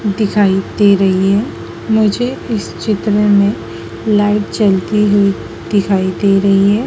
दिखाई दे रही है मुझे इस चित्र में लाइट जलती हुई दिखाई दे रही है।